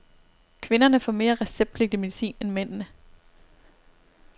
Kvinderne får mere receptpligtig medicin end mændene.